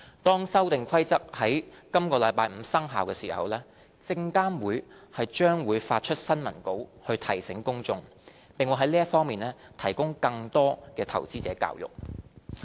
當《修訂規則》於本周五生效時，證監會將發出新聞稿以提醒公眾，並會在這方面提供更多的投資者教育。